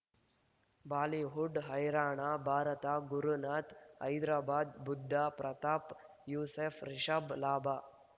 Bollywood ಹೈರಾಣ ಭಾರತ ಗುರುನಾಥ್ ಹೈದರಾಬಾದ್ ಬುಧ್ ಪ್ರತಾಪ್ ಯೂಸುಫ್ ರಿಷಬ್ ಲಾಭ